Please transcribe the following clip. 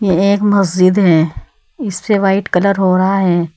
ये एक मस्जिद है इसपे व्हाइट कलर हो रहा है।